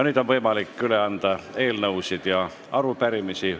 Nüüd on võimalik üle anda eelnõusid ja arupärimisi.